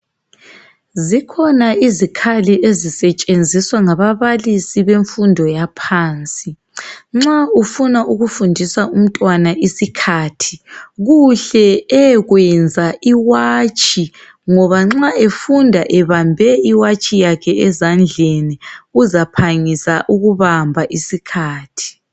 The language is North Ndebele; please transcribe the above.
Zikhona izikhali ezisetshenziswa ngababalisi bemfundo yaphansi. Nxa ufuna ukufundisa umntwana isikhathi, kuhle eyekwenza iwatshi, ngoba nxa efunda ebambe iwatshi yakhe ezandleni uzaphangisa ukubamba isikhathi.